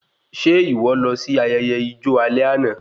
Ṣe ìwọ lọ sí ayẹyẹ ijo alẹ́ àna?